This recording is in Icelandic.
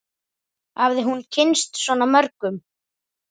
Hafði hún kynnst svona mörgum?